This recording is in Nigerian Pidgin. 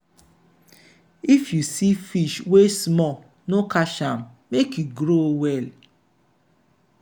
if you see fish wey small no catch am make e grow well.